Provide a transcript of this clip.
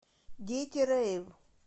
дети рэйв